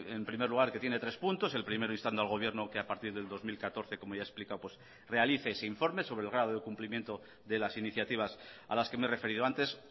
en primer lugar que tiene tres puntos el primero instando al gobierno que a partir del dos mil catorce como ya he explicado realice ese informe sobre el grado de cumplimiento de las iniciativas a las que me he referido antes